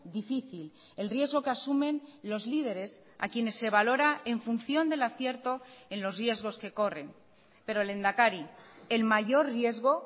difícil el riesgo que asumen los líderes a quienes se valora en función del acierto en los riesgos que corren pero lehendakari el mayor riesgo